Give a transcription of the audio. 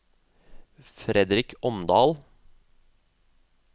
Fredrik Omdal